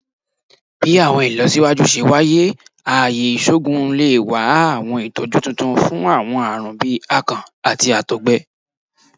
Bi awọn ilọsiwaju ṣe waye, aaye iṣoogun le wa awọn itọju tuntun fun awọn aarun bii akàn ati àtọgbẹ